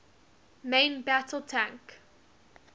main battle tank